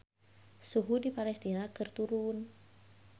Suhu di Palestina keur turun